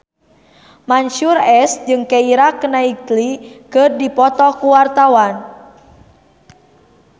Mansyur S jeung Keira Knightley keur dipoto ku wartawan